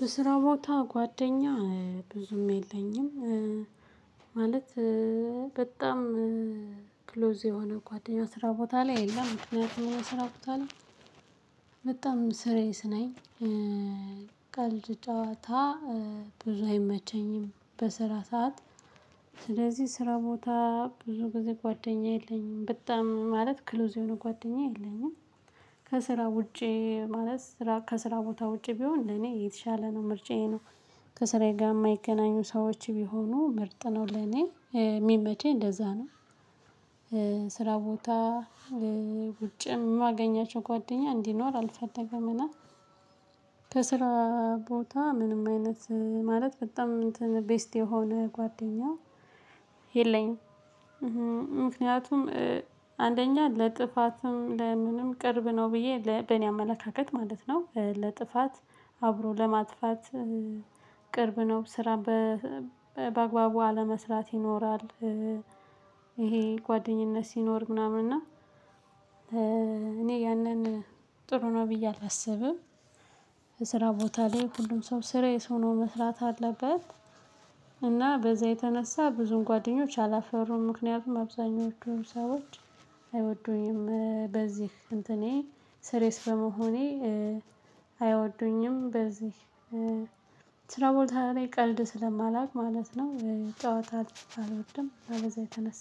በስራ ቦታ ጓደኛ ብዙም የለኝም ማለት በጣም ክሎዝ የሆነ ጓደኛ ስራ ቦታ ላይ የለም ምክንያቱም ስራ ቦታ ላይ ስርየስ ነኝ። ቀልድ ጨዋታ ብዙ አይመቸኝም በስራ ሰዓት። ስለዚህ ስራ ቦታ ብዙ ጊዜ ጓደኛ የለኝም በጣም ማለት ክሉዝ የሆነ ጓደኛ የለኝም። ከስራ ውጪ ማለት ከስራ ቦታ ውጪ ቢሆን ለኔ የተሻለ ነው ምርጫዬ ነው ከስራዬ ጋር የማይገናኙ ሰዎች ቢሆኑ ምርጥ ነው ለኔ የሚመቸኝ እንደዛ ነው። ስራ ቦታ ውጭ የማገኛቸው ጓደኛ እንዲኖር አልፈደገምና። ከስራ ቦታ ምንም አይነት ማለት በጣም ቤስት የሆነ ጓደኛ የለኝም። ምክንያቱም አንደኛ ለጥፋትም ለምንም ቅርብ ነው ብዬ በኔ አመለካከት ማለት ነው ለጥፋት አብሮ ለማጥፋት ቅርብ ነው ስራ በአግባቡ አለመስራት ይኖራል። ይሄ ጓደኝነት ሲኖር ምናምን እና እኔ ያንን ጥሩ ነው ብዬ አላስብም። የስራ ቦታ ላይ ሁሉም ሰው ስራ የሰው ነው መስራት አለበት። እና በዛ የተነሳ ብዙም ጓደኞች አላፈራውም ምክንያቱም አብዛኞቹን ሰዎች አይወዱኝም በዚህ እንትኔ ስሬስ በመሆኔ። አይወዱኝም በዚህ ስራ ቦታ ላይ ቀልድ ስለማላውቅ ማለት ነው ጨዋታ አልወድም በዛ የተነሳ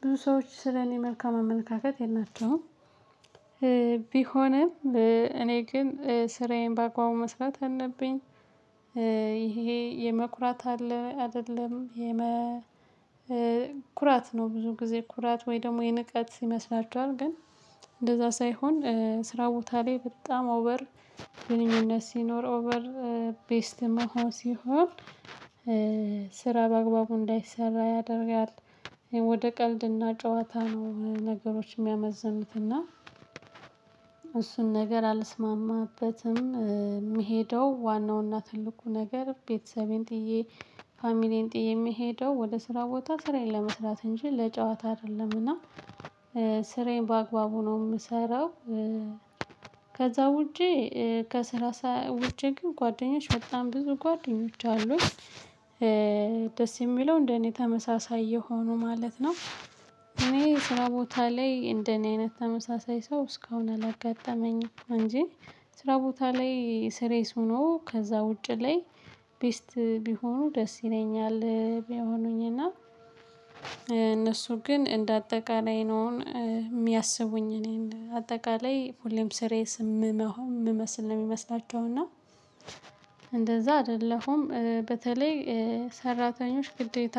ብዙ ሰዎች ስለኔ መልካም አመለካከት የላቸውም። ቢሆንም እኔ ግን ስራዬን በአግባቡ መስራት አለብኝ። ይሄ የመኩራት አለ አይደለም። የመ ኩራት ነው ብዙ ጊዜ ኩራት ወይ ደግሞ የንቀት ይመስላችኋል ግን እንደዛ ሳይሆን ስራ ቦታ ላይ በጣም ኦቨር ግንኙነት ሲኖር ኦቨር ቤስት መሆን ሲሆን። ስራ በአግባቡ እንዳይሰራ ያደርጋል። ወደ ቀልድና ጨዋታ ነው ነገሮች የሚያመዝኑትና እሱን ነገር አልስማማበትም። ምሄደው ዋናውና ትልቁ ነገር ቤተሰቤን ጥዬ ፋሚሊዬን ጥዬ የምሄደው ወደ ስራ ቦታ ስራየን ለመስራት እንጂ ለጨዋታ አይደለምና። ስራዬን በአግባቡ ነው የምሰራው። ከዛ ውጪ ከስራ ውጪ ግን ጓደኛች በጣም ብዙ ጓደኞች አሉኝ። ደስ የሚለው እንደኔ ተመሳሳይ የሆኑ ማለት ነው። እኔ ስራ ቦታ ላይ እንደኔ አይነት ተመሳሳይ ሰው እስካሁን አላጋጠመኝም። እንጂ ስራ ቦታ ላይ ስሬስ ሆኖ ከዛ ውጪ ላይ ቤስት ቢሆኑ ደስ ይለኛል ቢሆኑኝና። እነሱ ግን እንደ አጠቃላይ ነው ሚያስቡኝ እኔን አጠቃላይ ሁሌም ስሬስ መሆን ምመስል ነው የሚመስላቸው እና። እንደዛ አይደለሁም። በተለይ ሰራተኞች ግዴታ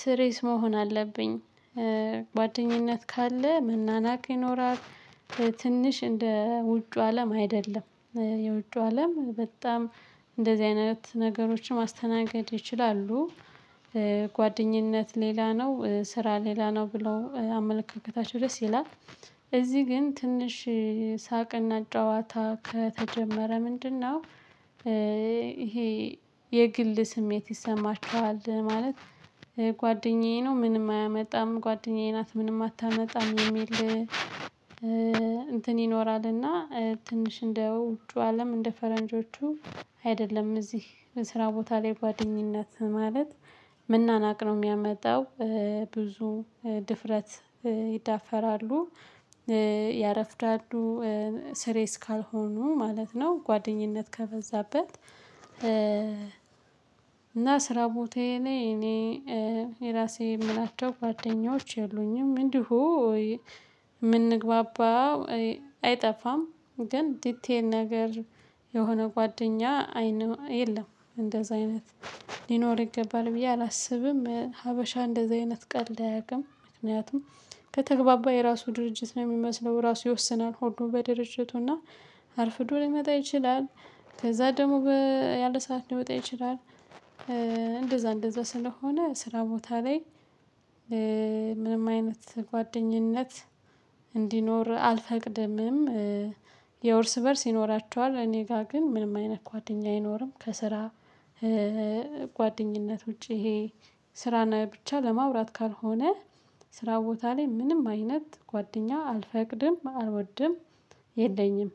ስሬስ መሆን አለብኝ። ጓደኝነት ካለ ምናናቅ ይኖራል። ትንሽ እንደ ውጩ አለም አይደለም። የውጩ አለም በጣም እንደዚህ አይነት ነገሮችን ማስተናገድ ይችላሉ። ጓደኝነት ሌላ ነው ስራ ሌላ ነው ብለው አመለካከታቸው ድረስ ይላል። እዚህ ግን ትንሽ ሳቅና ጨዋታ ከተጀመረ ምንድነው? ይሄ የግል ስሜት ይሰማቸዋል። ማለት ጓደኛዬ ነው ምንም አያመጣም ጓደኛዬ ናት ምንም አታመጣም የሚል። እንትን ይኖራልና ትንሽ እንደ ውጩ አለም እንደ ፈረንጆቹ አይደለም እዚህ ስራ ቦታ ላይ ጓደኝነት ማለት መናናቅ ነው የሚያመጣው። ብዙ ድፍረት ይዳፈራሉ ያረፍዳሉ ስሬስ ካልሆኑ ማለት ነው። ጓደኝነት ከፈዛበት። እና ስራ ቦታዬ ላይ እኔ የራሴ የምላቸው ጓደኞች ያሉኝም እንዲሁ የምንግባባው አይጠፋም ግን ዲቴል ነገር የሆነ ጓደኛ አይነት የለም። እንደዛ አይነት ሊኖር ይገባል ብዬ አላስብም። ሀበሻ እንደዛ አይነት ቀልድ አያውቅም ምክንያቱም ከተግባባ የራሱ ድርጅት ነው የሚመስለው ራሱ ይወስናል ሆኖ በድርጅቱና አርፍዶ ሊመጣ ይችላል። ከዛ ደግሞ ያለ ሰዓት ሊመጣ ይችላል። እንደዛ እንደዛ ስለሆነ ስራ ቦታ ላይ ምንም አይነት ጓደኝነት እንዲኖር አልፈቅደምም። የ ያው ርስ በርስ ይኖራቸዋል እኔ ጋር ግን ምንም አይነት ጓደኛ አይኖርም። ከስራ ጓደኝነት ውጪ ይሄ ስራና ብቻ ለማውራት ካልሆነ ስራ ቦታ ላይ ምንም አይነት ጓደኛ አልፈቅድም አልወድም የለኝም።